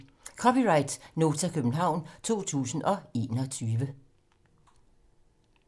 (c) Nota, København 2021